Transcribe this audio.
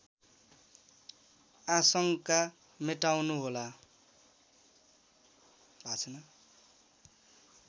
आशङ्का मेटाउनु होला